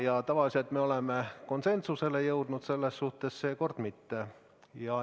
Ja tavaliselt me oleme konsensusele jõudnud, seekord mitte.